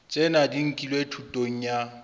tsena di nkilwe thutong ya